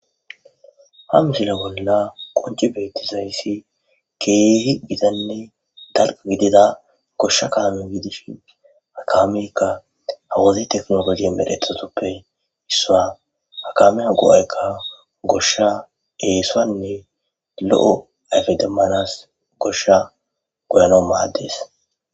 Ha misile bolla qonci beittizayssi keehi gidanne dalqa gidida goshsha kaame gidishi akaameykka hawazi teknologi medhethatoppe issua hakamea go'aykka goshsha eesaanne lo'o afedemanas goshsha goyano maaddes.